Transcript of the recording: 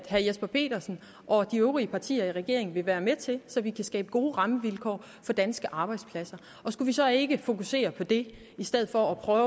jesper petersen og de øvrige partier i regeringen vil være med til så vi kan skabe gode rammevilkår for danske arbejdspladser og skulle vi så ikke fokusere på det i stedet for at prøve